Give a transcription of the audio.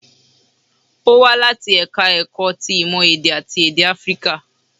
Ó wá láti ẹ̀ka ẹ̀kọ́ ti ìmọ̀ èdè àti èdè áfíríkà